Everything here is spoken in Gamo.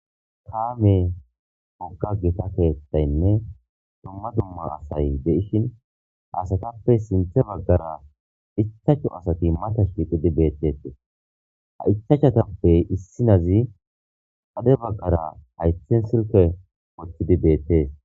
taame hogga gita keettaynne dumma dumma asay be7ishin haasatappe sinthe baggara ichacho asati mata shiixidi beettetee ha ichachatappe issinazi ade baggara haythen silke gochidi beettees